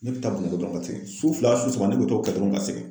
Ne bɛ taa ka segin su fila su saba ne bɛ t'o kɛ dɔrɔn ka segin.